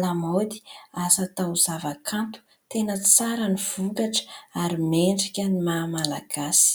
lamaody .Asa taozavakanto, tena tsara ny vokatra ary mendrika ny maha malagasy.